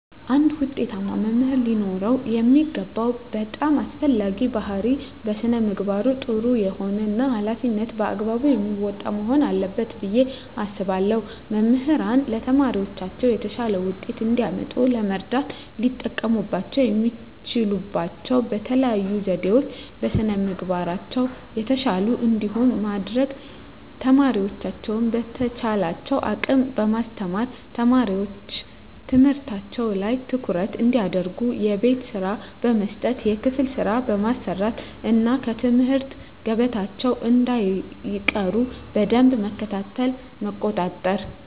አንድ ውጤታማ መምህር ሊኖረው የሚገባው በጣም አስፈላጊው ባህሪይ በስነ ምግባሩ ጥሩ የሆነ እና ሀላፊነቱን በአግባቡ የሚወጣ መሆን አለበት ብየ አስባለሁ። መምህራን ለተማሪዎቻቸው የተሻለ ውጤት እንዲያመጡ ለመርዳት ሊጠቀሙባቸው የሚችሉባቸው የተለዩ ዘዴዎች - በስነ ምግባራቸው የተሻሉ እንዲሆኑ ማድረግ፣ ተማሪዎቻቸውን በተቻላቸው አቅም በማስተማር፣ ተማሪዎች ትምህርታቸው ላይ ትኩረት እንዲያደርጉ የቤት ስራ በመስጠት የክፍል ስራ በማሰራት እና ከትምህርት ገበታቸው እንዳይቀሩ በደንብ መከታተልና መቆጣጠር።